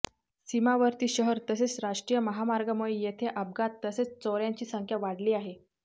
सीमावर्ती शहर तसेच राष्ट्रीय महामार्गामुळे येथे अपघात तसेच चोऱयांची संख्या वाढली आहे